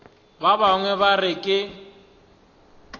ba bangwe ba re ke